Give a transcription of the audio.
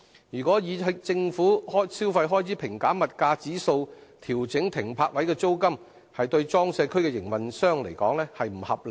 如果以"政府消費開支平減物價指數"調整停泊位的租金，對裝卸區營運商而言並不合理。